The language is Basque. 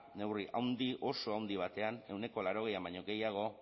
neurri handi oso handi batean ehuneko laurogeian baino gehiago